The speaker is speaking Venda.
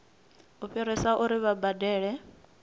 u fhirisa uri vha badele